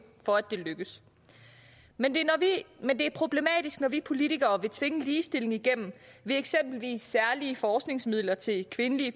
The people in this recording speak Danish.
for at det lykkes men det er problematisk når vi politikere vil tvinge ligestilling igennem ved eksempelvis særlige forskningsmidler til kvindelige